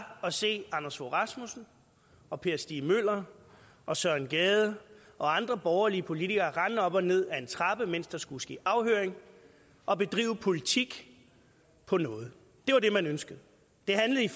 at se anders fogh rasmussen og per stig møller og søren gade og andre borgerlige politikere rende op og ned ad en trappe mens der skulle ske afhøringer og bedrive politik på noget det var det man ønskede det handlede